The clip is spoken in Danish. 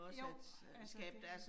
Jo, altså det